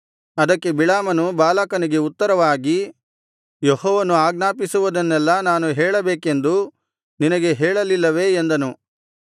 ಅದಕ್ಕೆ ಬಿಳಾಮನು ಬಾಲಾಕನಿಗೆ ಉತ್ತರವಾಗಿ ಯೆಹೋವನು ಆಜ್ಞಾಪಿಸುವುದನ್ನೆಲ್ಲಾ ನಾನು ಹೇಳಬೇಕೆಂದು ನಿನಗೆ ಹೇಳಲಿಲ್ಲವೇ ಎಂದನು